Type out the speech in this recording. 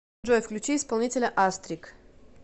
джой включи исполнителя астрик